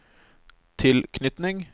tilknytning